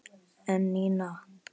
En Nína?